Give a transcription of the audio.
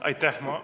Aitäh!